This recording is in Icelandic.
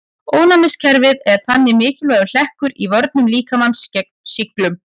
Ónæmiskerfið er þannig mikilvægur hlekkur í vörnum líkamans gegn sýklum.